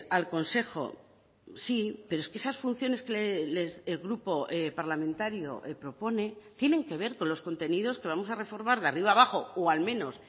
al consejo sí pero es que esas funciones que el grupo parlamentario propone tienen que ver con los contenidos que vamos a reformar de arriba a abajo o al menos